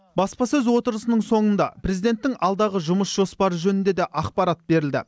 баспасөз отырысының соңында президенттің алдағы жұмыс жоспары жөнінде де ақпарат берілді